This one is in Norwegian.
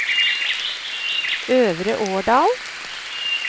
Øvre Årdal